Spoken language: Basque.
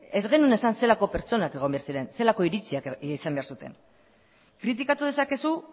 ez genuen esan zelako pertsonak egon behar ziren zelako iritziak izan behar zuten kritikatu dezakezu